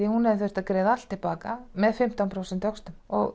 að hún hefði þurft að greiða allt til baka með fimmtán prósenta vöxtum